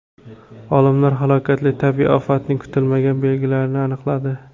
Olimlar halokatli tabiiy ofatning kutilmagan belgilarini aniqladi.